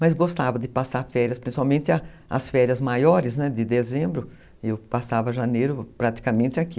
Mas gostava de passar férias, principalmente as férias maiores, de dezembro, eu passava janeiro praticamente aqui.